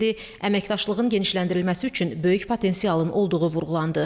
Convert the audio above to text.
Əməkdaşlığın genişləndirilməsi üçün böyük potensialın olduğu vurğulandı.